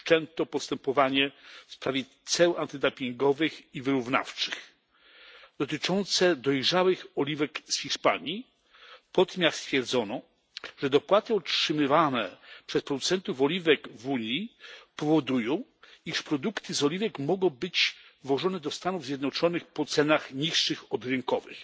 wszczęto postępowanie w sprawie ceł antydumpingowych i wyrównawczych dotyczące dojrzałych oliwek z Hiszpanii, po tym jak stwierdzono, że dopłaty utrzymywane przez producentów oliwek w Unii powodują, iż produkty z oliwek mogą być wwożone do Stanów Zjednoczonych po cenach niższych od rynkowych.